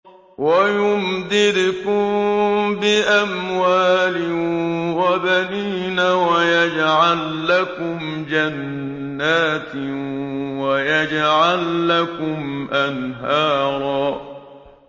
وَيُمْدِدْكُم بِأَمْوَالٍ وَبَنِينَ وَيَجْعَل لَّكُمْ جَنَّاتٍ وَيَجْعَل لَّكُمْ أَنْهَارًا